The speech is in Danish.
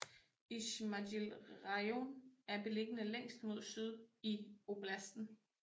Izmajil rajon er beliggende længst mod syd i oblasten